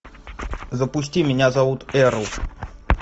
запусти меня зовут эрл